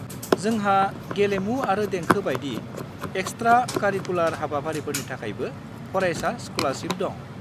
जोंहा गेलेमु आरो देंखो बायदि एक्सट्रा-कारिकुलार हाबाफारिफोरनि थाखायबो फरायसा स्क'लारशिप दं।